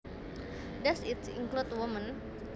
Does it include women